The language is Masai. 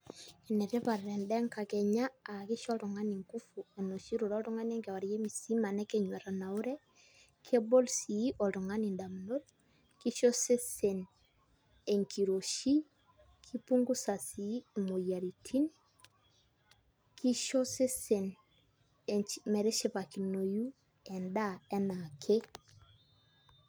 Enetipat endaa enkakenya aa kisho oltung'ani nguvu enoshi irure oltung'ani enkewarie musima nekenyu etanaure kebol sii oltung'ani indamunot kisho osesen enkiroshii kipungusa sii imoyiaritin kisho osesen metishipakinoyu endaa enaake.